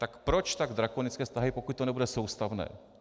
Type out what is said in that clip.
Tak proč tak drakonické vztahy, pokud to nebude soustavné.